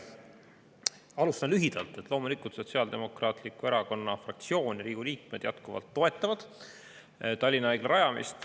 Alustan, lühidalt, et loomulikult Sotsiaaldemokraatliku Erakonna fraktsiooni liikmed Riigikogus jätkuvalt toetavad Tallinna Haigla rajamist.